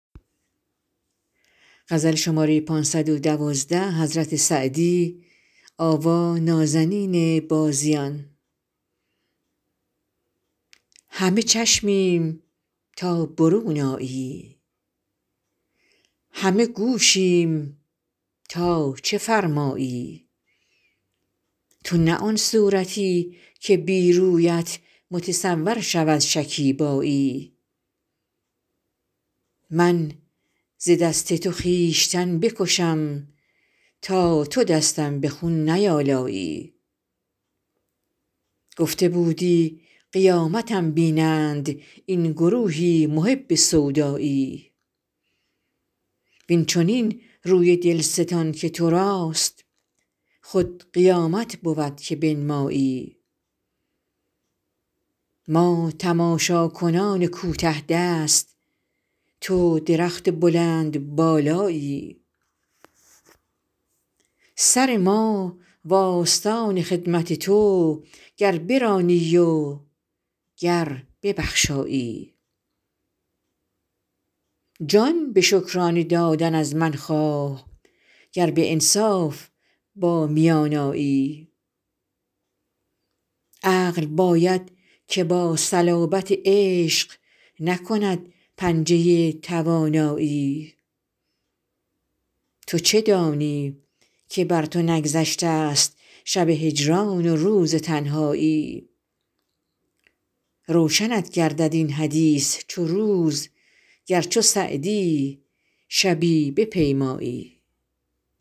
همه چشمیم تا برون آیی همه گوشیم تا چه فرمایی تو نه آن صورتی که بی رویت متصور شود شکیبایی من ز دست تو خویشتن بکشم تا تو دستم به خون نیآلایی گفته بودی قیامتم بینند این گروهی محب سودایی وین چنین روی دل ستان که تو راست خود قیامت بود که بنمایی ما تماشاکنان کوته دست تو درخت بلندبالایی سر ما و آستان خدمت تو گر برانی و گر ببخشایی جان به شکرانه دادن از من خواه گر به انصاف با میان آیی عقل باید که با صلابت عشق نکند پنجه توانایی تو چه دانی که بر تو نگذشته ست شب هجران و روز تنهایی روشنت گردد این حدیث چو روز گر چو سعدی شبی بپیمایی